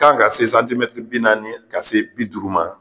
kan ka se bi naani ka se bi duuru ma.